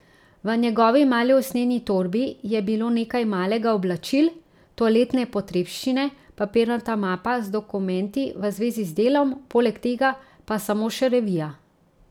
V njegovi mali usnjeni torbi je bilo nekaj malega oblačil, toaletne potrebščine, papirnata mapa z dokumenti v zvezi z delom, poleg tega pa samo še revija.